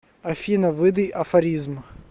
афина выдай афоризм